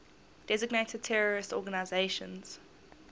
designated terrorist organizations